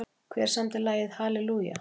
Hver samdi lagið Hallelujah?